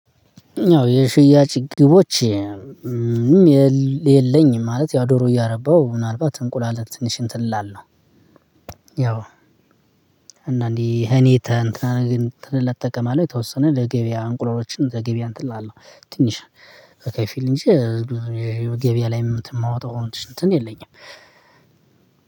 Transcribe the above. ያው የሽያጭ ግቦች የለኝም ማለት ያው ዶሮ እያረባሁ ምናልባት እንቁላል ትንሽ እንትን እላለው። ያው አንዳንዴ እኔ ተንትና ነገር እጠቀማለሁ ተወሰነ ለገበያ እንቁላሎችን ለገቢያ እንትን አለው። ትንሽ በከፊል እንጂ ገበያ ላይ እማወጣው እንትን የለኝም።